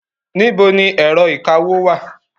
Níbo ni ẹ̀rọ ìkawó wà?